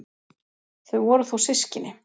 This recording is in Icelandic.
Þau voru þó systkini.